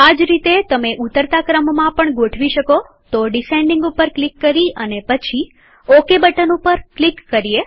આ જ રીતેતમે ઉતરતા ક્રમમાં પણ ગોઠવી શકોતો ડીસેન્ડીંગ ઉપર ક્લિક કરી પછી ઓકે બટન ઉપર ક્લિક કરીએ